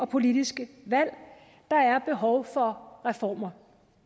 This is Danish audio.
politiske valg der er behov for reformer